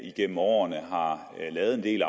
et